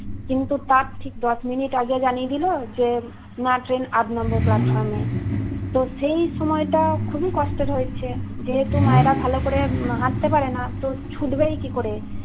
কিন্তু তার ঠিক দশ মিনিট আগে জানিয়ে দিলো। যে না ট্রেন আট number platform এ । তো সেই সময়টা খুবই কস্টের হয়েছে। যেহেতু মায়েরা ভাল করে হাটতে পারে না। তো ছুটবেই কি করে